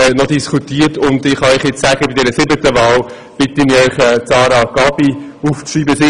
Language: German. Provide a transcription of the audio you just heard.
Ich bitte Sie, bei der siebten Wahl Sarah Gabi aufzuschreiben.